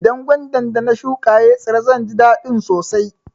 Idan gwandar da na shuƙa ya tsira zan ji dadin sosai.